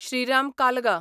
Shriram कालगा